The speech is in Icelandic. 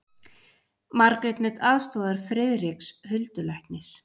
Margrét naut aðstoðar Friðriks huldulæknis.